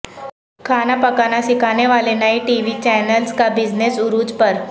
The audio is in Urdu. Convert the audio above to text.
کھانا پکانا سکھانے والے نئے ٹی وی چینلز کا بزنس عروج پر